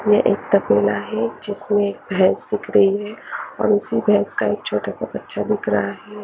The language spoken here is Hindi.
यहाँ एक तपेला है जिसमे भेंस दिख रही है और उसमे छोटा सा बच्चा दिख रहा है।